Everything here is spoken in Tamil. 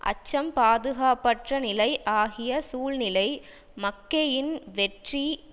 அச்சம் பாதுகாப்பற்ற நிலை ஆகிய சூழ்நிலை மக்கெயின் வெற்றி